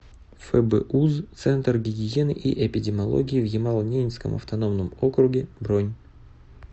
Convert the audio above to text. фбуз центр гигиены и эпидемиологии в ямало ненецком автономном округе бронь